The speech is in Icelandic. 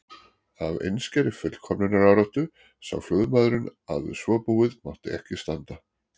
Af einskærri fullkomnunaráráttu sá flugmaðurinn að við svo búið mátti ekki standa.